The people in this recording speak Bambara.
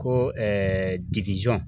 Ko